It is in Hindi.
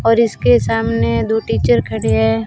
और इसके सामने दो टीचर खड़े हैं।